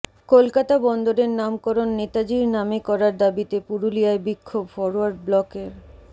কলকাতা বন্দরের নামকরণ নেতাজির নামে করার দাবিতে পুরুলিয়ায় বিক্ষোভ ফরোয়ার্ড ব্লকের